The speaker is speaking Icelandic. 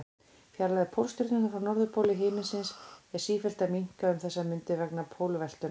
Fjarlægð Pólstjörnunnar frá norðurpól himins er sífellt að minnka um þessar mundir vegna pólveltunnar.